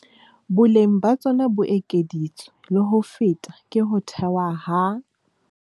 Boleng ba tsona bo ekeditswe le ho feta ke ho thewa ha